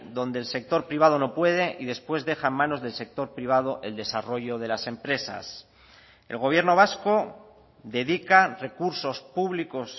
donde el sector privado no puede y después deja en manos del sector privado el desarrollo de las empresas el gobierno vasco dedica recursos públicos